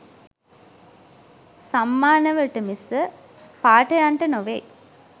සම්මානවලට මිස පාඨයන්ට නොවෙයි.